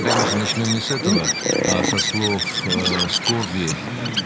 конечно начнём не с этого а со слов скорби